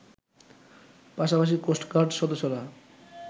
পাশাপাশি কোস্টগার্ড সদস্যরা